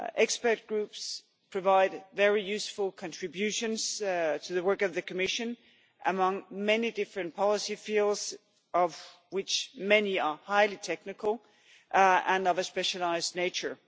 Expert groups provide very useful contributions to the work of the Commission in many different policy fields, of which many are highly technical and of a specialised nature.